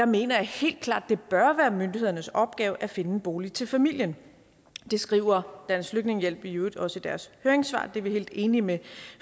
mener jeg helt klart at det bør være myndighedernes opgave at finde en bolig til familien det skriver dansk flygtningehjælp i øvrigt også i deres høringssvar og det er vi helt enige med